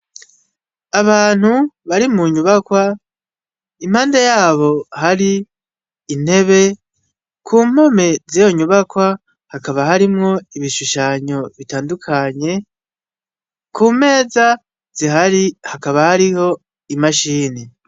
Abantu bari mu nyubakwa impande yabo har'intebe ku mpome ziyo nyubakwa hakaba harimwo ibishushanyo bitandukanye ku meza zihari hakaba hariho imashini.